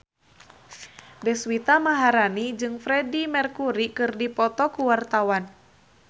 Deswita Maharani jeung Freedie Mercury keur dipoto ku wartawan